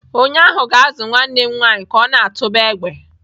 Onye ahụ ga-azụ nwanne m nwanyị ka ọ na-atụba egbe.